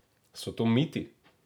So to miti?